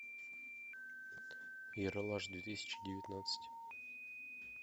ералаш две тысячи девятнадцать